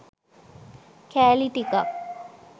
කෑලි ටිකක්